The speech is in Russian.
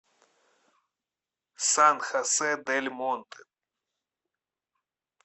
сан хосе дель монте